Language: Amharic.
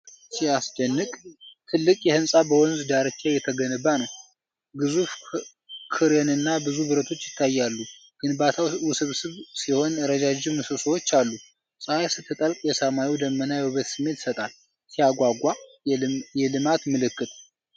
ሲያስደንቅ! ትልቅ ሕንፃ በወንዝ ዳርቻ እየተገነባ ነው። ግዙፍ ክሬንና ብዙ ብረቶች ይታያሉ። ግንባታው ውስብስብ ሲሆን ረዣዥም ምሰሶዎች አሉ። ፀሐይ ስትጠልቅ የሰማዩ ደመና የውበት ስሜት ይሰጣል። ሲያጓጓ! የልማት ምልክት!